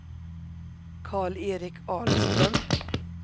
Karl-Erik Ahlström